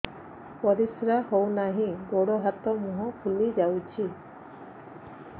ପରିସ୍ରା ହଉ ନାହିଁ ଗୋଡ଼ ହାତ ମୁହଁ ଫୁଲି ଯାଉଛି